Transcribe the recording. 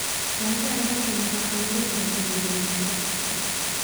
Gaajo ayaa keenta cuduro badan iyo dhimasho.